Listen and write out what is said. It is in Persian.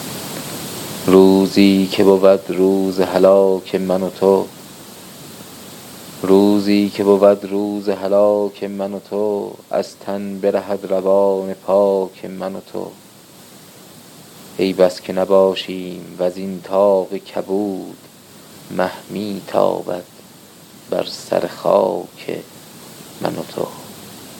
روزی که بود روز هلاک من و تو از تن برهد روان پاک من و تو ای بس که نباشیم وزین طاق کبود مه میتابد بر سر خاک من و تو